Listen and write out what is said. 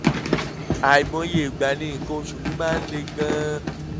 àìmọye ìgbà ni nǹkan oṣù mi máa ń le gan-an